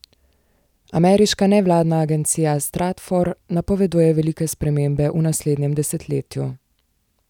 Ameriška nevladna agencija Stratfor napoveduje velike spremembe v naslednjem desetletju.